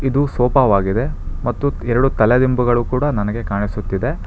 ಇದು ಸೋಪವಾಗಿದೆ ಮತ್ತು ಎರಡು ತಲೆದಿಂಬುಗಳು ಕೂಡ ನನಗೆ ಕಾಣಿಸುತ್ತಿದೆ.